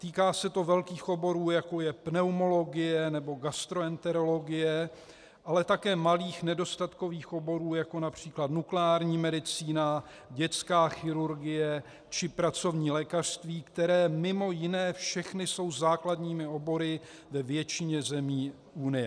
Týká se to velkých oborů, jako je pneumologie nebo gastroenterologie, ale také malých nedostatkových oborů, jako například nukleární medicína, dětská chirurgie či pracovní lékařství, které mimo jiné všechny jsou základními obory ve většině zemí unie.